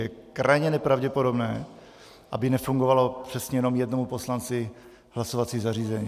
Je krajně nepravděpodobné, aby nefungovalo přesně jenom jednomu poslanci hlasovací zařízení.